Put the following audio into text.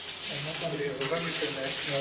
ഒരു ഊഹം കിട്ടുമല്ലേ?